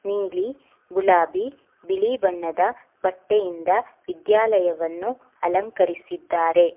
ನೀಲಿ ಗುಲಾಬಿ ಬಿಳಿ ಬಣ್ಣದ ಬಟ್ಟೆಯಿಂದ ವಿದ್ಯಾಲಯವನ್ನು ಅಲಂಕರಿಸಿದ್ದಾರೆ.